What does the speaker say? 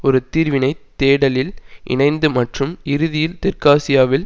ஒரு தீர்வினை தேடலில் இணைந்து மற்றும் இறுதியில் தெற்காசியாவில்